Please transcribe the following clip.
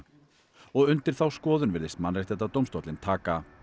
og undir þá skoðun virðist Mannréttindadómstóllinn taka